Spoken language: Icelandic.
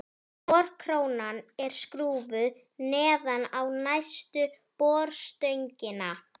Borkróna er skrúfuð neðan á neðstu borstöngina.